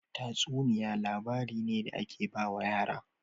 Tatsuniya labari ne da ake bawa yara